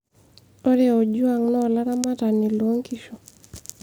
ore Ojuang naa olaramatani loonkishu